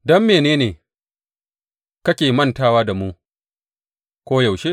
Don mene ne kake mantawa da mu koyaushe?